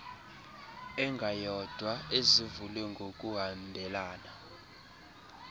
engayodwa ezivulwe ngokuhambelana